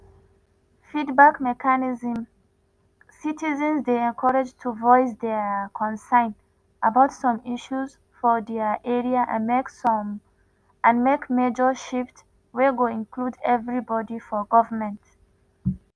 feedback mechanism:citizens dey encourage to voice dia concern about some issues for dia area and make major shift wey go include everibodi for goment.